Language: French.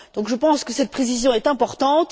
Je pense donc que cette précision est importante.